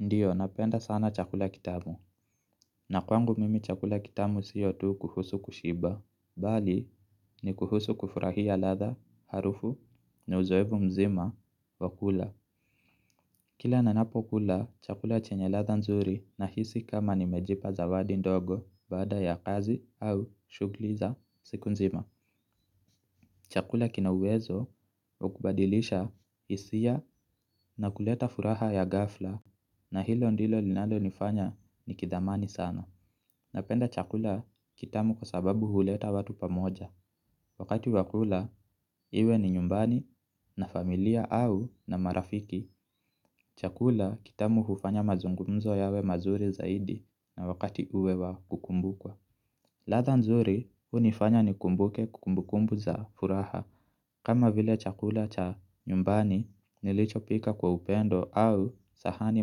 Ndiyo napenda sana chakula kitamu. Na kwangu mimi chakula kitamu sio tu kuhusu kushiba bali ni kuhusu kufurahia latha harufu na uzoevu mzima wa kula. Kila nanapo kula chakula chenye latha nzuri nahisi kama nimejipa zawadi ndogo baada ya kazi au shugli za siku nzima. Chakula kina uwezo wa kubadilisha isia na kuleta furaha ya gafla. Na hilo ndilo linalo nifanya nikithamani sana. Napenda chakula kitamu kwa sababu huleta watu pamoja. Wakati wa kula iwe ni nyumbani na familia au na marafiki. Chakula kitamu hufanya mazungumzo yawe mazuri zaidi na wakati uwe wa kukumbukwa. Latha nzuri unifanya nikumbuke kumbu kumbu za furaha kama vile chakula cha nyumbani nilichopika kwa upendo au sahani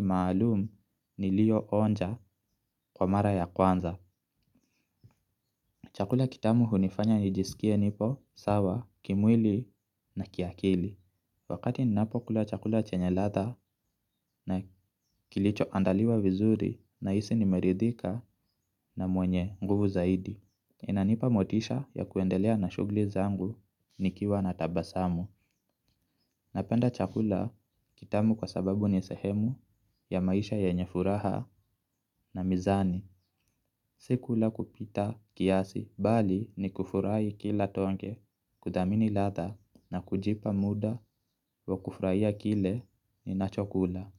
maalum nilio onja kwa mara ya kwanza. Chakula kitamu hunifanya nijiskie nipo, sawa kimwili na kiakili. Wakati ninapo kula chakula chenye latha na kilicho andaliwa vizuri nahisi nimerithika na mwenye nguvu zaidi. Inanipa motisha ya kuendelea na shugli zangu nikiwa na tabasamu. Napenda chakula kitamu kwa sababu ni sehemu ya maisha yenye furaha na mizani. Si kula kwa kupita kiasi bali ni kufurahi kila tonge kuthamini latha na kujipa muda wa kufuraia kile ninacho kula.